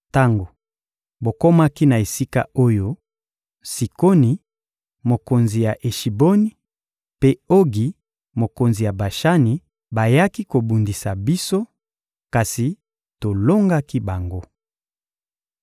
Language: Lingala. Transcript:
Tango bokomaki na esika oyo, Sikoni, mokonzi ya Eshiboni, mpe Ogi, mokonzi ya Bashani, bayaki kobundisa biso, kasi tolongaki bango.